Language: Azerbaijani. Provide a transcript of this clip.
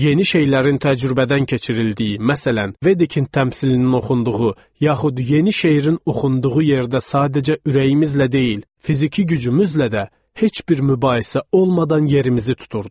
Yeni şeylərin təcrübədən keçirildiyi, məsələn, Veditin təmsilinin oxunduğu, yaxud yeni şeirin oxunduğu yerdə sadəcə ürəyimizlə deyil, fiziki gücümüzlə də heç bir mübahisə olmadan yerimizi tuturduq.